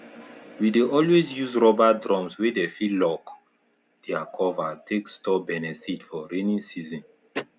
we dey always use rubber drums wey dey fit lock their cover take store beniseed for rainy season